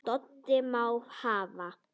Doddi: Má hafa